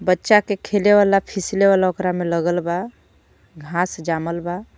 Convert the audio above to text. बच्चा के खेले वाला फिसले वाला ओकरा में लगल बा घास जामल बा.